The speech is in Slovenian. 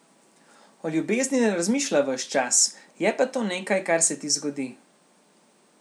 O ljubezni ne razmišlja ves čas, je pa to nekaj, kar se ti zgodi.